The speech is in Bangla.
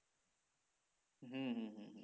হম হম হম